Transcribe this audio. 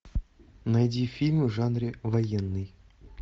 найди фильм в жанре военный